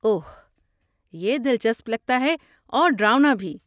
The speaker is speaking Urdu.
اوہ، یہ دلچسپ لگتا ہے اور ڈراؤنا بھی۔